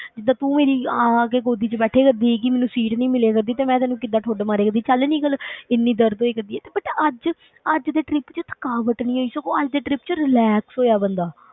ਜਿੱਦਾਂ ਤੂੰ ਮੇਰੀ ਆ ਆ ਕੇ ਗੋਦੀ ਵਿੱਚ ਬੈਠੀ ਕਰਦੀ ਸੀਗੀ, ਮੈਨੂੰ seat ਨੀ ਮਿਲਿਆ ਕਰਦੀ ਤੇ ਮੈਂ ਤੈਨੂੰ ਕਿੱਦਾਂ ਠੁੱਡ ਮਾਰਿਆ ਕਰਦੀ, ਚੱਲ ਨਿੱਕਲ ਇੰਨੀ ਦਰਦ ਹੋਇਆ ਕਰਦੀ ਹੈ, ਤੇ but ਅੱਜ ਅੱਜ ਦੇ trip ਵਿੱਚ ਥਕਾਵਟ ਨੀ ਹੈ ਸਗੋਂ ਅੱਜ ਦੇ trip ਵਿੱਚ relax ਹੋਇਆ ਬੰਦਾ।